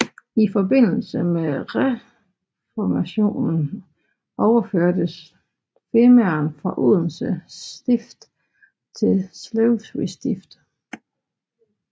I forbindelse med Reformationen overførtes Femern fra Odense Stift til Slesvig Stift